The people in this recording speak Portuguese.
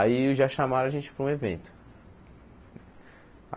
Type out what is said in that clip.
Aí já chamaram a gente para um evento.